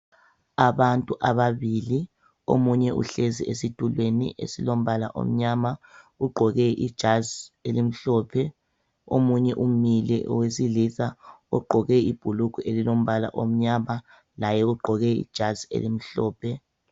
Abantu ababili omunye uhlezi esitulweni esilombala omnyama ugqoke ijazi elimhlophe omunye umile owesilisa ugqoke ibhulugwe elilombala omnyama laye ugqoke ijazi elimhlophe.